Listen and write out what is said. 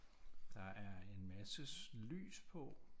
Der er en masse lys på